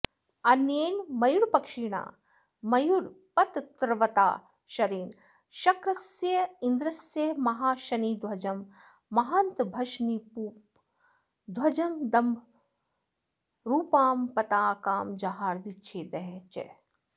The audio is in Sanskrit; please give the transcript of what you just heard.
अन्येन मयूरपक्षिणा मयूरपत्त्रवता शरेण शक्रस्येन्द्रस्य महाशनिध्वजं महान्तभशनिपूपं ध्वजं दम्भोलिरूपां पताकां जहार चिच्छेद च